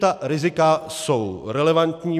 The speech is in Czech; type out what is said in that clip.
Ta rizika jsou relevantní.